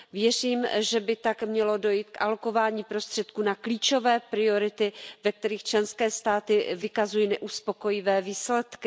Věřím, že by tak mělo dojít k alokování prostředků na klíčové priority, ve kterých členské státy vykazují neuspokojivé výsledky.